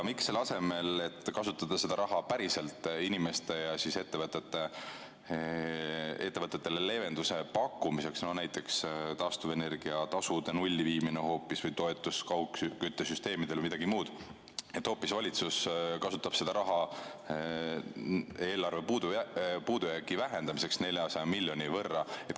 Miks selle asemel, et kasutada seda raha päriselt inimestele ja ettevõtetele leevenduse pakkumiseks, näiteks taastuvenergia tasu hoopis nulli viia või toetada kaugküttesüsteeme või midagi muud, kasutab valitsus seda raha hoopis eelarve puudujäägi vähendamiseks 400 miljoni võrra?